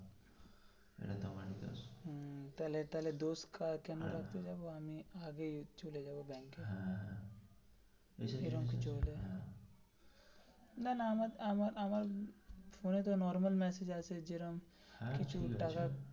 তাহলে তাহলে দোষ কার কেন রাখতে যাবো আমি চলে যাবো ব্যাংকে এরম কিছু হলে না না আমার ফোন তো normal message আসে যেরম কিছু টাকার.